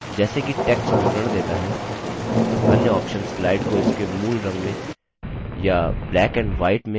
जैसे कि text विवरण देता है अन्य options slide को इसके मूल रंग में या black and white में print करेगा